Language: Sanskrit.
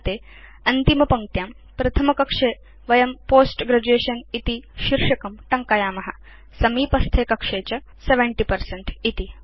अन्ते अन्तिमपङ्क्त्यां प्रथमकक्षे वयं पोस्ट ग्रेजुएशन इति शीर्षकं टङ्कयाम समीपस्थे कक्षे च 70 पर्सेंट